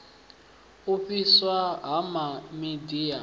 u fhiswa ha miḓi ya